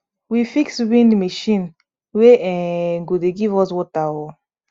we fix wind machine wey um go dey give us water um